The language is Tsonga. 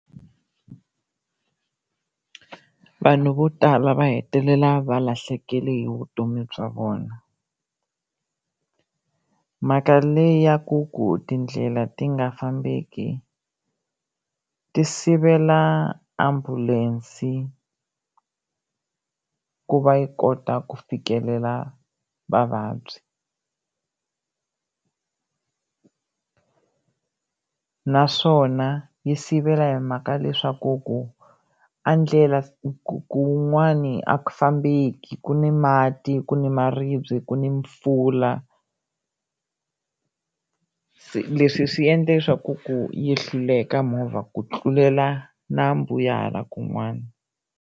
Vanhu vo tala va hetelela va lahlekele hi vutomi bya vona, mhaka leyi ya ku ku tindlela ti nga fambeki ti sivela ambulense ku va yi kota ku fikelela vavabyi naswona yi sivela hi mhaka leswaku ku a ndlela ku kun'wani a ku fambeki ku ni mati, ku ni maribye, ku ni mpfula leswi swi endla leswaku ku yi hluleka movha ku tlulela nambu ya hala kun'wana.